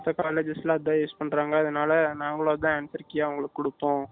மித்த colleges லாம் அதுதான் use பண்ணுறாங்க அதுனால நாங்களும் அதுதான் answer Key யா அவங்கலுக்கு கொடுத்தோம்